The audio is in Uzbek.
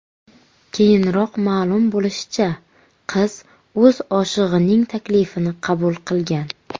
Keyinroq ma’lum bo‘lishicha, qiz o‘z oshig‘ining taklifini qabul qilgan.